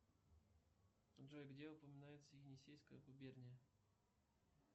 джой где упоминается енисейская губерния